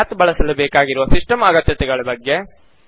Math ಬಳಸಲು ಬೇಕಾಗಿರುವ system ಅಗತ್ಯತೆಗಳ ಬಗ್ಗೆ